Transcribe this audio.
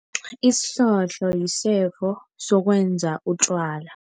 Isihlohlo yisefo sokwenza utjwala.